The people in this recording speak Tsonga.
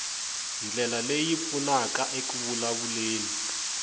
ndlela leyi pfunaka eku vulavuleni